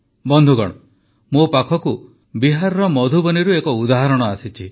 ବନ୍ଧୁଗଣ ମୋ ପାଖକୁ ବିହାର ମଧୁବନୀରୁ ଏକ ଉଦାହରଣ ଆସିଛି